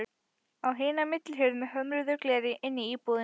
Á hina millihurð með hömruðu gleri inn í íbúðina.